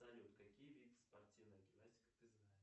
салют какие виды спортивной гимнастики ты знаешь